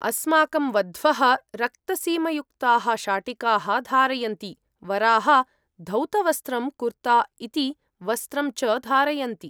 अस्माकं वध्वः रक्तसीमयुक्ताः शाटिकाः धारयन्ति, वराः धौतवस्त्रं कुर्ता इति वस्त्रं च धारयन्ति।